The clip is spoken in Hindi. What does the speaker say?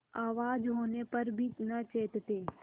आवाज होने पर भी न चेतते